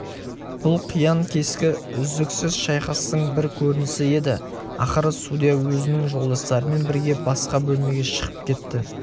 бұл қиян-кескі үздіксіз шайқастың бір көрінісі еді ақыры судья өзінің жолдастарымен бірге басқа бөлмеге шығып кетті